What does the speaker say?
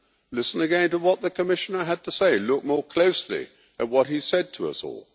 Listen again to what the Commissioner had to say, look more closely at what he said to us all.